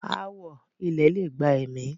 ááwọ̀ ilẹ̀ lè gba ẹ̀mí.